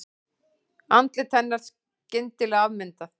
Andlit hennar skyndilega afmyndað.